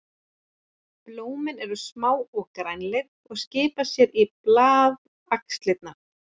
Blómin eru smá og grænleit og skipa sér í blaðaxlirnar.